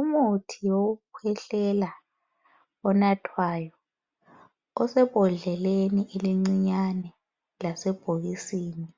Umuthi wokukhwehlela onathwayo, osebhodleleni elincinyane lasebhokisini